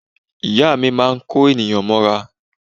Ìyá mi máa ń kó ènìyàn mọ́ra.